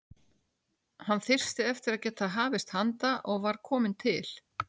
Hann þyrsti eftir að geta hafist handa og var kominn til